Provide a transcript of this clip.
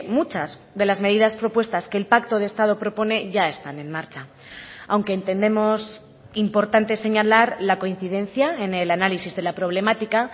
muchas de las medidas propuestas que el pacto de estado propone ya están en marcha aunque entendemos importante señalar la coincidencia en el análisis de la problemática